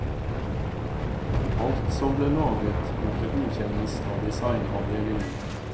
Alt som ble laget måtte godkjennes av designavdelingen.